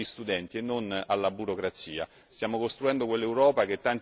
Stiamo costruendo quell'Europa che tanti anni fa i nostri padri fondatori hanno immaginato.